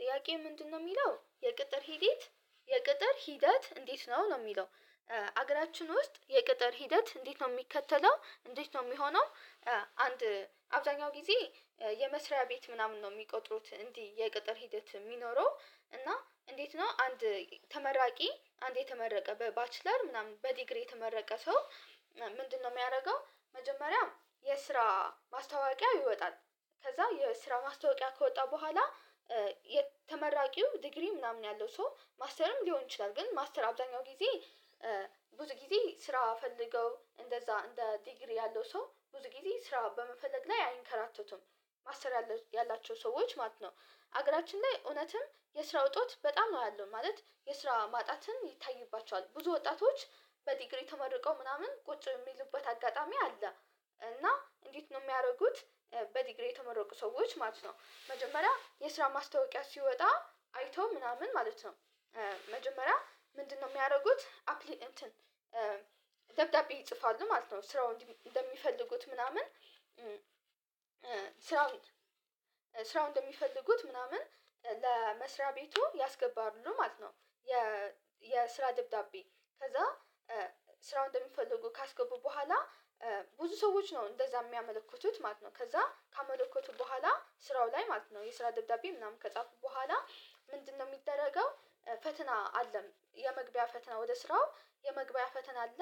ጥያቄ ምንድነው የሚለው የቅጥር ሂደት የቅጥር ሂደት እንዴት ነው ነው የሚለው? አገራችን ውስጥ የቅጥር ሂደት እንዴት ነው የሚከተለው እንዴት ነው የሚሆነው? አንድ አብዛኛው ጊዜ የመስሪያ ቤት ምናምን ነው የሚቆጥሩት እንዲህ የቅጥር ሂደት የሚኖረው እና እንዴት ነው አንድ ተመራቂ አንድ የተመረቀ በባችለር ምናምን በዲግሪ የተመረቀ ሰው ምንድነው የሚያደርገው መጀመሪያ የስራ ማስታወቂያ ይወጣል። ከዛ የስራ ማስታወቂያ ከወጣ በኋላ የተመራቂው ዲግሪ ምናምን ያለው ሰው ማስተርም ሊሆን ይችላል ግን ማስተር አብዛኛው ጊዜ ብዙ ጊዜ ስራ ፈልገው እንደዛ እንደ ዲግሪ ያለው ሰው ብዙ ጊዜ ስራ በመፈለግ ላይ አይንከራተቱም። ማሰተር ያላቸው ሰዎች ማለት ነው። ሀገራችን ላይ እውነትም የስራ እጦት በጣም ነው ያለው ማለት የስራ ማጣትን ይታይባቸዋል ብዙ ወጣቶች በዲግሪ ተመርቀው ምናምን ቁጭ የሚሉበት አጋጣሚ አለ። እና እንዴት ነው የሚያደርጉት? በዲግሪ የተመረቁ ሰዎች ማለት ነው መጀመሪያ የስራ ማስታወቂያ ሲወጣ አይቶ ምናምን ማለት ነው። መጀመሪያ ምንድነው የሚያደርጉት አፕሊ እንትን ደብዳቤ ይጽፋሉ ማለት ነው ስራውን እንደሚፈልጉት ምናምን ስራው እንደሚፈልጉት ምናምን ለመስሪያ ቤቱ ያስገባሉ ማለት ነው። የስራ ደብዳቤ ከዛ ስራውን እንደምፈልጉ ካስገቡ በኋላ ብዙ ሰዎች ነው እንደዛ የሚያመለክቱት ማለት ነው። ከዛ ካመለከቱ በኋላ ስራው ላይ ማለት ነው የስራ ደብዳቤ ምናምን ከጻፉ በኋላ ምንድነው የሚደረገው? ፈተና አለም የመግቢያ ፈተና ወደ ስራው የመግቢያ ፈተና አለ።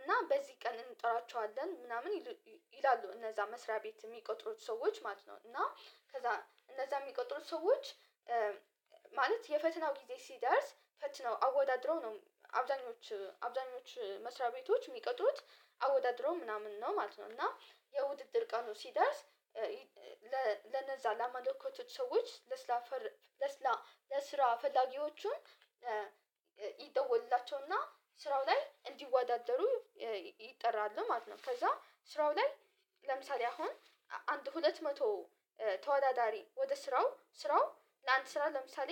እና በዚህ ቀን እንጥራቸዋለን ምናምን ይሉ ይላሉ እነዛ መስሪያ ቤት የሚቆጥሩት ሰዎች ማለት ነው። እና ከዛ እነዛ የሚቀጥሩት ሰዎች ማለት የፈተናው ጊዜ ሲደርስ ፈትነው አወዳድረው ነው። አብዛኞቹ አብዛኞቹ መስሪያ ቤቶች የሚቀጥሩት አወዳድረው ምናምን ነው ማለት ነው። እና የውድድር ቀኑ ሲደርስ ለነዛ ላመለከቱት ሰዎች ለስላፈር ለስላ ለስራ ፈላጊዎቹን ይደወልላቸውና ስራው ላይ እንዲወዳደሩ ይጠራሉ ማለት ነው። ከዛ ስራው ላይ ለምሳሌ አሁን አንድ ሁለት መቶ ተወዳዳሪ ወደ ስራው ስራው ለአንድ ስራ ለምሳሌ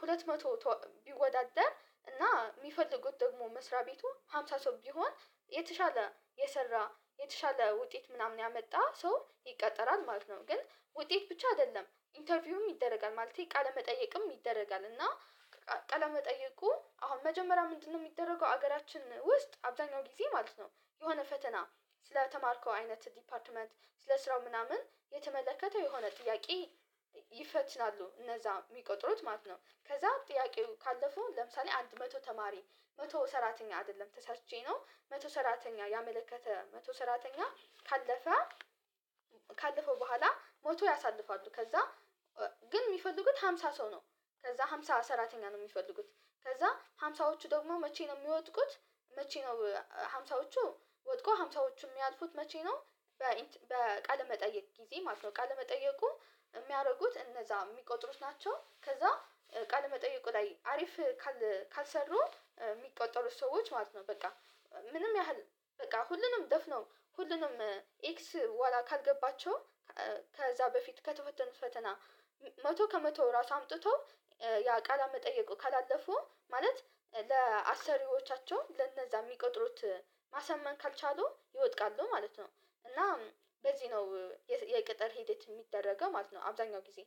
ሁለት መቶ ተወ ቢወዳደር እና የሚፈልጉት ደግሞ መስሪያ ቤቱ ሃምሳ ሰው ቢሆን የተሻለ የሰራ የተሻለ ውጤት ምናምን ያመጣ ሰው ይቀጠራል ማለት ነው። ግን ውጤት ብቻ አይደለም ኢንተርቪውም ይደረጋል ማለቴ ቃለመጠየቅም ይደረጋል እና። ቃለመጠየቁ አሁን መጀመሪያ ምንድነው የሚደረገው ሀገራችን ውስጥ አብዛኛው ጊዜ ማለት ነው የሆነ ፈተና። ስለተማርከው አይነት ዲፓርትመንት ስለስራው ምናምን የተመለከተ የሆነ ጥያቄ። ይፈትናሉ እነዛ የሚቀጥሩት ማለት ነው። ከዛ ጥያቄው ካለፈው ለምሳሌ አንድ መቶ ተማሪ መቶ ሰራተኛ አይደለም ተሳትቼ ነው መቶ ሰራተኛ ያመለከተ መቶ ሰራተኛ ካለፈ። ካለፈው በኋላ ሞቶ ያሳልፋሉ ከዛ ግን የሚፈልጉት ሃምሳ ሰው ነው። ከዛ ሃምሳ ሰራተኛ ነው የሚፈልጉት። ከዛ ሃምሳዎቹ ደግሞ መቼ ነው የሚወጥቁት? መቼ ነው ሀምሳዎቹ ወድቆ ሀምሳዎቹ ሚያልፉት መቼ ነው? በ ኢንት በቃለ መጠየቅ ጊዜ ማለት ነው ቃለ መጠየቁ የሚያደርጉት እነዛ የሚቆጥሩት ናቸው። ከዛ ቃል መጠየቁ ላይ አሪፍ ካል ካልሰሩ የሚቆጠሩት ሰዎች ማለት ነው። በቃ ምንም ያህል በቃ ሁሉንም ደፍነው ሁሉንም ኤክስ ኋላ ካልገባቸው ከዛ በፊት ከተፈተኑት ፈተና። መቶ ከመቶ ራሱ አምጥቶ ያ ቃል መጠየቁ ካላለፉ ማለት ለአሰሪዎቻቸው ለነዛ የሚቆጥሩት ማሳመን ካልቻሉ ይወድቃሉ ማለት ነው። እና በዚህ ነው የቅጥር ሂደት የሚደረገው ማለት ነው። አብዛኛው ጊዜ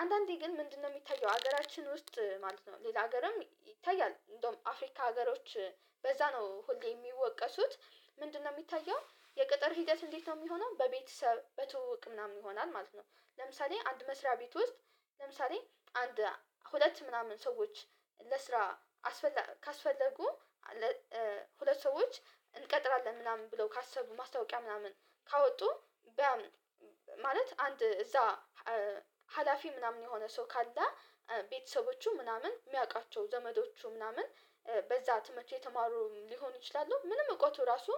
አንዳንዴ ግን ምንድነው የሚታየው ሀገራችን ውስጥ ማለት ነው ሌላ ሀገርም ይታያል እንደውም አፍሪካ ሀገሮች በዛ ነው ሁሌ የሚወቀሱት። ምንድነው የሚታየው የቅጥር ሂደት እንዴት ነው የሚሆነው በቤተሰብ በትውውቅ ምናምን ይሆናል ማለት ነው። ለምሳሌ አንድ መስሪያ ቤት ውስጥ ለምሳሌ አንድ ሁለት ምናምን ሰዎች ለስራ አስፈላ ካስፈለጉ ለ ሁለት ሰዎች እንቀጥራለን ምናምን ብለው ካሰቡ ማስታወቂያ ምናምን ካወጡ ቢያምኑ ማለት አንድ እዛ ሀላፊ ምናምን የሆነ ሰው ካለ ቤተሰቦቹ ምናምን የሚያውቃቸው ዘመዶቹ ምናምን በዛ ትምህርት የተማሩ ሊሆኑ ይችላሉ ምንም እውቀቱ ራሱ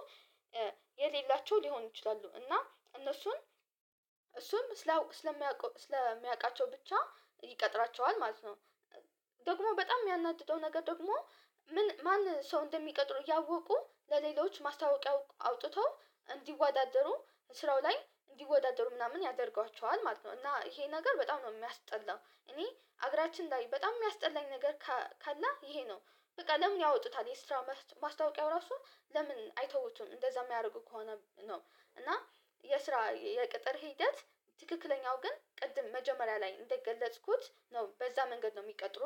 የሌላቸው ሊሆን ይችላሉ። እና እነሱን እሱም ስላው ስለሚያውቀው ስለሚያውቃቸው ብቻ ይቀጥራቸዋል ማለት ነው። ደግሞ በጣም የሚያናድደው ነገር ደግሞ ማን ሰው እንደሚቀጥሉሩ እያወቁ ለሌሎች ማስታወቂያ አውጥተው እንዲወዳደሩ ስራው ላይ እንዲወዳደሩ ምናምን ያደርጓቸዋል ማለት ነው። እና ይሄ ነገር በጣም ነው የሚያስጠላው። እኔ አገራችን ላይ በጣም የሚያስጠላኝ ነገር ካለ ይሄ ነው። በቃ ለምን ያወጡታል የስራ ማስታወቂያው ራሱ ለምን አይተውትም እንደዛ የሚያደርጉ ከሆነ ነው? እና የስራ የቅጥር ሂደት ትክክለኛው ግን ቅድም መጀመሪያ ላይ እንደገለጽኩት ነው በዛ መንገድ ነው የሚቀጥሩት